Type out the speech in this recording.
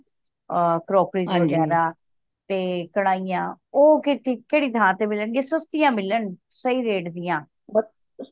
ਅ crockeries ਵਗੈਰਾਹ ਤੇ ਕੜਾਹੀਆਂ ਉਹ ਕਿਥੈ ਕਿਹੜੀ ਥਾਂ ਤੇ ਮਿਲਣ ਗਿਆ ਸਸਤੀਆਂ ਮਿਲਣ ਸਹੀ rate ਦੀਆ